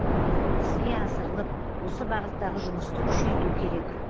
іске асырылып осы бағыттағы жұмысты күшейту керек